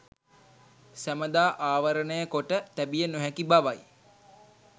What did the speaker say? සැමදා ආවරණයකොට තැබිය නොහැකි බවයි.